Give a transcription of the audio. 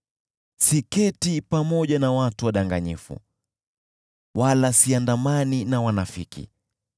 Siketi pamoja na watu wadanganyifu, wala siandamani na wanafiki,